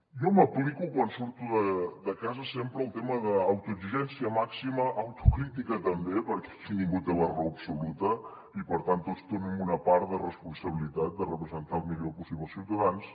jo m’aplico quan surto de casa sempre el tema d’autoexigència màxima autocrítica també perquè aquí ningú té la raó absoluta i per tant tots tenim una part de responsabilitat de representar el millor possible els ciutadans